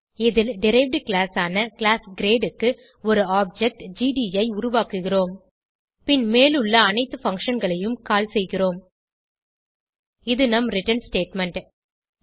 இதில் derived class ஆன class grade க்கு ஒரு ஆப்ஜெக்ட் ஜிடி ஐ உருவாக்குகிறோம் பின் மேலுள்ள அனைத்து functionகளையும் கால் செய்கிறோம் இது நம் ரிட்டர்ன் ஸ்டேட்மெண்ட்